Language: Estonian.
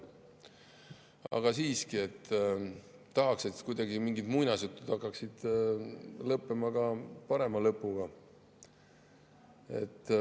Aga siiski tahaks, et mingid muinasjutud hakkaksid olema ka parema lõpuga.